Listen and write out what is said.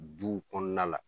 Duw kɔnɔna la